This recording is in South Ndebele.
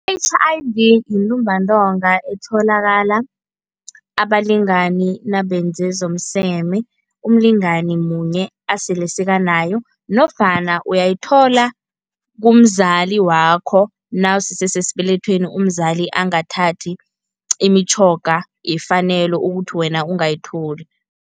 I-H_I_V yintumbantonga etholakala abalingani nabenze zomseme umlingani munye asele sekanaye nofana uyayithola kumzali wakho nawusese sesibelethweni umzali angathathi imitjhoga yefanelo ukuthi wena ungayithola.